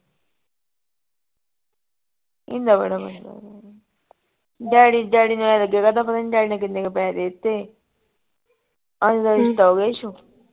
daddy, daddy ਦਾ ਪਤਾ ਨਹੀਂ ਕਿੰਨੇ ਕੇ ਪੈਸੇ ਦੇ ਤੇ